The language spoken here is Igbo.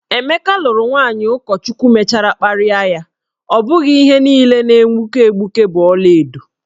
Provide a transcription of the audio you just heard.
Emeka lụrụ nwaanyị ụkọchukwu mechara kparịa ya, ọ bụghị ihe niile na-egbuke egbuke bụ ọlaedo.